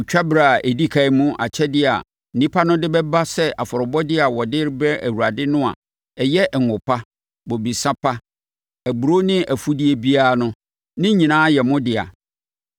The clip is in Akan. “Otwa berɛ a ɛdi ɛkan mu akyɛdeɛ a nnipa no de bɛba sɛ afɔrebɔdeɛ a wɔde rebrɛ Awurade no a ɛyɛ ngo pa, bobesa pa, aburoo ne afudeɛ biara no, ne nyinaa yɛ mo dea.